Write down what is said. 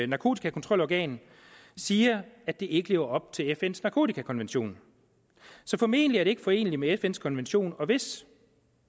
narkotikakontrolorgan siger at det ikke lever op til fns narkotikakonvention så formentlig er det ikke foreneligt med fns konvention og hvis